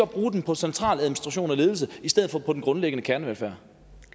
bruge dem på centraladministration og ledelse i stedet for på den grundlæggende kernevelfærd